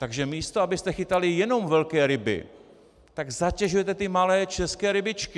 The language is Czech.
Takže místo abyste chytali jenom velké ryby, tak zatěžujete ty malé české rybičky.